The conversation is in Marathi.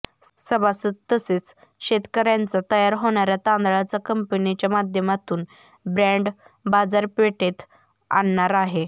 सभासद तसेच शेतकऱ्यांचा तयार होणाऱ्या तादळांचा कंपनीच्या माध्यमातून ब्रॅन्ड बाजारपेठेत आणणार आहे